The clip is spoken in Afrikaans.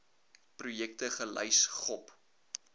projekte gelys gop